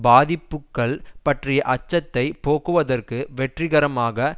பாதிப்புக்கள் பற்றிய அச்சத்தை போக்குவதற்கு வெற்றிகரமாக